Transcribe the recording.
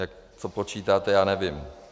Jak to počítáte, já nevím.